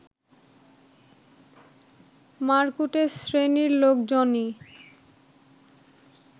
মারকুটে শ্রেণীর লোকজনই